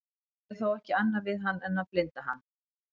þeir gerðu þó ekki annað við hann en að blinda hann